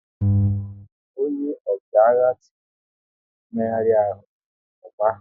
Ọnye ọchịagha tiri "Ị méhari ahụ, m gba"!